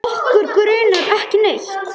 Okkur grunar ekki neitt.